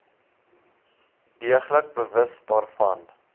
deeglik bewus daarvan